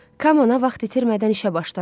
Kam ana vaxt itirmədən işə başladı.